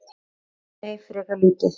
Nei, frekar lítið.